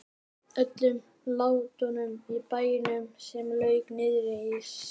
Öllum látunum í bænum sem lauk niðri á Slysadeild.